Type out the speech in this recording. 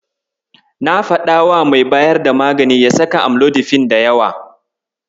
Na faɗawa mai bayar da magani ya saka amlodifin da yawa.